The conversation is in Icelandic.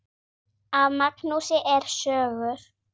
Af Magnúsi eru sögur